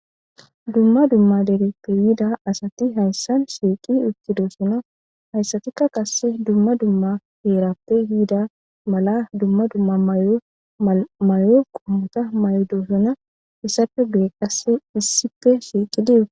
dumma dumma deretiyida asati hayssan siiqi uttidosuna hayssatikka qasse dumma dumma heerappe hiida mala dumma dumma mymayo qommota may7odoosona issafe gu7e qasse issife siiqi die